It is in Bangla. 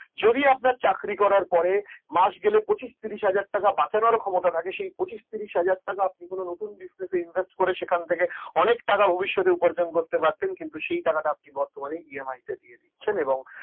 যদি আপনার চাকরি করার পরে মাস গেলে পচিশ তিরিশ হাজার টাকা বাঁচানোর ক্ষমতা রাখেন সেই পচিশ তিরিশ হাজার টাকা আপনি কোন ব্যবসাতে invest করে অনেক টাকা ভবিষ্যতে উপার্জন করতে পারতেন সেই টাকাটা আপনি বর্তমানে EMI তে দিয়ে দিচ্ছেন এবং